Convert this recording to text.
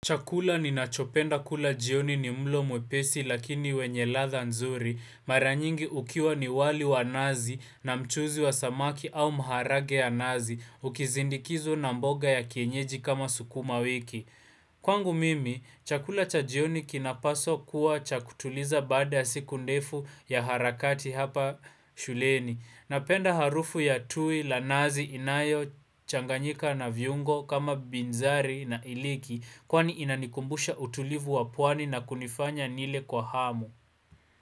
Chakula ni nachopenda kula jioni ni mlo mwepesi lakini wenye latda nzuri Maranyingi ukiwa ni wali wa nazi na mchuzi wa samaki au mharage ya nazi Ukizindikizwa na mboga ya kienyeji kama sukuma wiki Kwangu mimi, chakula cha jioni kinapaswa kuwa chakutuliza bada siku ndefu ya harakati hapa shuleni Napenda harufu ya tui la nazi inayo changanyika na viungo kama binzari na iliki Kwani inanikumbusha utulivu wapwani na kunifanya nile kwa hamu.